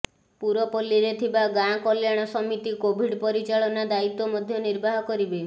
ପୁରପଲ୍ଲୀରେ ଥିବା ଗାଁ କଲ୍ୟାଣ ସମିତି କୋଭିଡ୍ ପରିଚାଳନା ଦାୟିତ୍ୱ ମଧ୍ୟ ନିର୍ବାହ କରିବେ